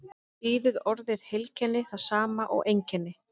þýðir orðið heilkenni það sama og einkenni